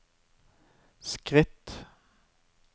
skritt